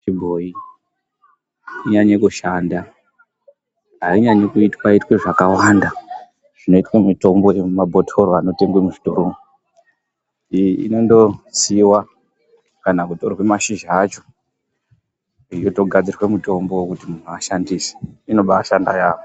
Mitombo yechibhoyi inonyanye kushanda hainyanyi kuitwaitwa zvakawanda zvinoitwa mitombo yemuma bhotoro inotengwa muzvitoromo. Iyi inongosiiwa kana kutorwa mashizha acho ichitogadzirwa mitombo yekuti muntu vashandise, inobaashanda yaamho.